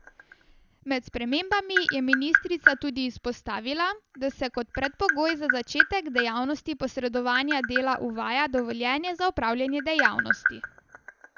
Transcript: Med spremembami je ministrica tudi izpostavila, da se kot predpogoj za začetek dejavnosti posredovanja dela uvaja dovoljenje za opravljanje dejavnosti.